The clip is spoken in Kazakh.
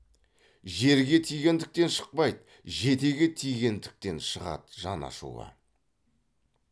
жерге тигендіктен шықпайды жетеге тигендіктен шығады жан ашуы